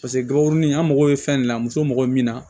Paseke n gaburuni an mago bɛ fɛn de la muso mago bɛ min na